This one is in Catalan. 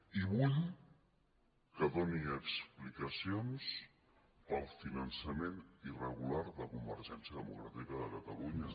i vull que doni explicacions per al finançament irregular de convergència democràtica de catalunya